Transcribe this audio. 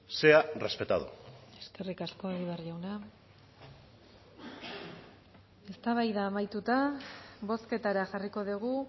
sea respetado eskerrik asko egibar jauna eztabaida amaituta bozketara jarriko dugu